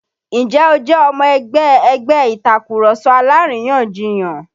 Ǹjẹ́ o jẹ́ ọmọ ẹgbẹ́ ẹgbẹ́ Ìtàkurọ̀sọ alárìyanjiyàn?